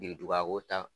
Biriduga ko ta